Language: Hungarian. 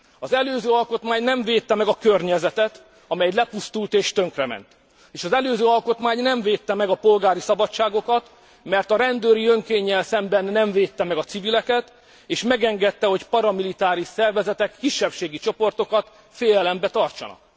Az előző alkotmány nem védte meg a környezetet, amely így lepusztult és tönkrement, és az előző alkotmány nem védte meg a polgári szabadságokat, mert a rendőri önkénnyel szemben nem védte meg a civileket, és megengedte, hogy paramilitáris szervezetek kisebbségi csoportokat félelemben tartsanak.